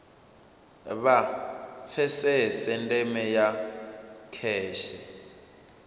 vha pfesese ndeme ya kheshe